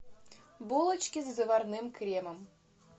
булочки с заварным кремом